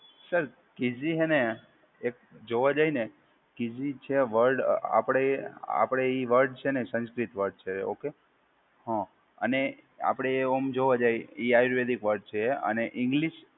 Sir, કીઝી હે ને એક જોવા જાય ને કીઝી છે વર્ડ આપડે આપડે એ વર્ડ છે ને સંસ્કૃત વર્ડ છે. ઓકે. હા, અને આપડે એ ઓમ જોવા જાય એ આયુર્વેદિક વર્ડ છે અને ઇંગ્લિશ